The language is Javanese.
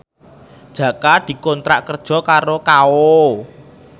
Jaka dikontrak kerja karo Kao